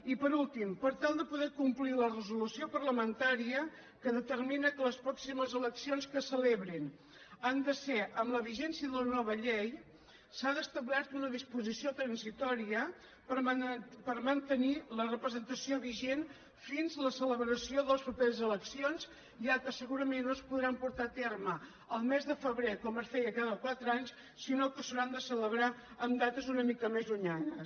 i per últim per tal de poder complir la resolució par·lamentària que determina que les pròximes eleccions que se celebrin han de ser amb la vigència de la nova llei s’ha establert una disposició transitòria per man·tenir la representació vigent fins a la celebració de les properes eleccions ja que segurament no es podran portar a terme el mes de febrer com es feia cada qua·tre anys sinó que s’hauran de celebrar en dates una mica més llunyanes